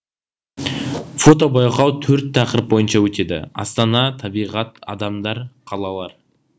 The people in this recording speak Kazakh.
фотобайқау төрт тақырып бойынша өтеді астана табиғат адамдар қалалар